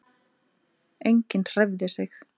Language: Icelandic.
Enginn hreyfði sig.